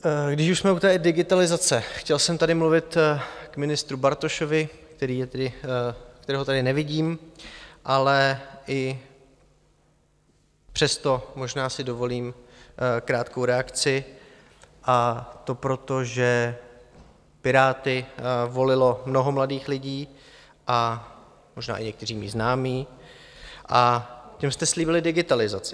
Když už jsme u té digitalizace, chtěl jsem tady mluvit k ministru Bartošovi, kterého tady nevidím, ale i přesto možná si dovolím krátkou reakci, a to proto, že Piráty volilo mnoho mladých lidí, a možná i někteří mí známí, a těm jste slíbili digitalizaci.